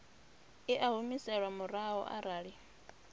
i a humiselwa murahu arali